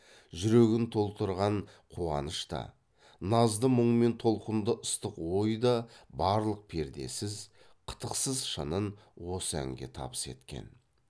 жүрегін толтырған қуаныш та назды мұң мен толқынды ыстық ой да барлық пердесіз қытықсыз шынын осы әнге табыс еткен